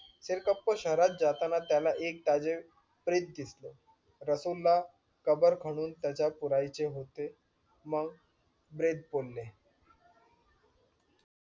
सिरकप्पा शहरात जाताना त्याला एक ताजे प्रेत दिसलं. रसूल ला कबर खणून त्याच्यात पुरायचे होते मग बोले